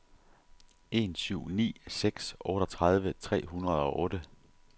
en syv ni seks otteogtredive tre hundrede og otte